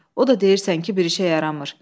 O da deyirsən ki, bir işə yaramır.